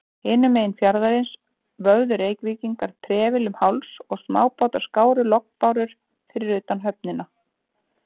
Hinum megin fjarðarins vöfðu Reykvíkingar trefli um háls, og smábátar skáru lognbárur fyrir utan höfnina.